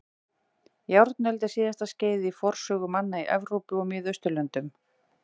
Járnöld er síðasta skeiðið í forsögu manna í Evrópu og Miðausturlöndum.